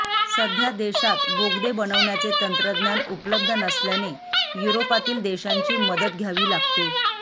सध्या देशात बोगदे बनवण्याचे तंत्रज्ञान उपलब्ध नसल्याने युरोपातील देशांची मदत घ्यावी लागते